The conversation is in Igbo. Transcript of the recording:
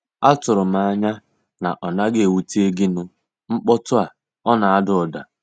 Atụrụ m anya na ọ naghị ewute gịnu mkpotu a, ọna ada ụda.